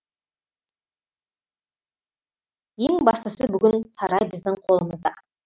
ең бастысы бүгін сарай біздің қолымызда